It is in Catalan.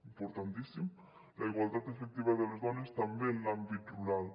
importantíssima la igualtat efectiva de les dones també en l’àmbit rural